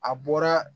A bɔra